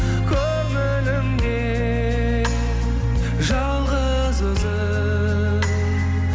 көңілімде жалғыз өзің